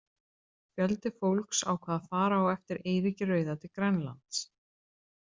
Fjöldi fólks ákvað að fara á eftir Eiríki rauða til Grænlands.